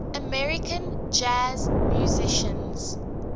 american jazz musicians